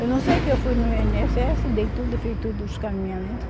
Eu não sei que eu fui no i ene esse esse, dei tudo, fiz tudo os encaminhamentos.